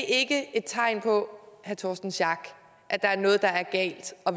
ikke et tegn på at der er noget der er galt og